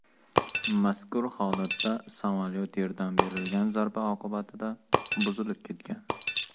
Mazkur holatda samolyot yerdan berilgan zarba oqibatida buzilib ketgan.